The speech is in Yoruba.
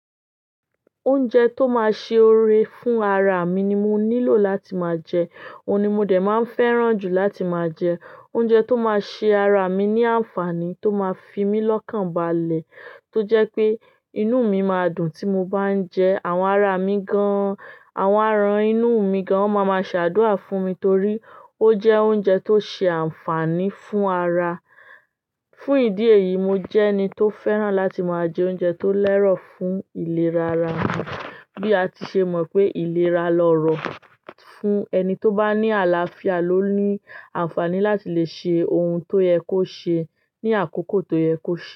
Oúnjẹ tó má ṣe ore fún ara mi ni mo nílò láti máa jẹ, òun ni mo dè má ń fẹ́ràn jù láti máa jẹ. Oúnjẹ tó má ṣe ara mi ní ànfàní tó má fi mi lọ́kànbalẹ̀ tó jẹ́ pé inú mi maá dùn tí mo bá ń jẹ àwọn ara mi gan-an. Àwọn àrán inú mi gan won má má ṣàdúà fún mi torí ó jẹ́ oúnjẹ tó ṣe ànfàní fún ara. Fún ìdí èyí, mo jẹ́ ẹni tó fẹ́ràn láti máa jẹ oúnjẹ tó lẹ́rọ̀ fún ìlera ara mi. Bí a ti ṣe mọ̀ pé ìlera lọ́rọ̀ fún ẹni tó bá ní àlàáfíà ló ní ànfàní láti lè ṣe ohun tó yẹ kó ṣe ní àkókò tó yẹ kó ṣe.